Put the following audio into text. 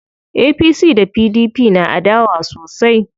APC da PDP na adawa sosai.